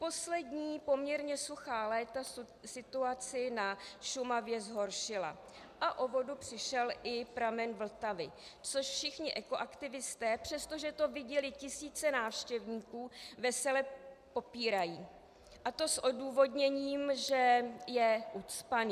Poslední poměrně suchá léta situaci na Šumavě zhoršila a o vodu přišel i pramen Vltavy, což všichni ekoaktivisté, přestože to viděly tisíce návštěvníků, vesele popírají, a to s odůvodněním, že je ucpaný.